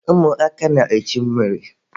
Ụmụaka bụkwa na-echu mmiri.